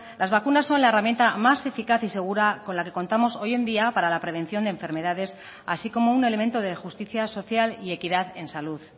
las vacunas son la herramienta más eficaz y segura con la que contamos hoy en día para la prevención de enfermedades así como un elemento de justicia social y equidad en salud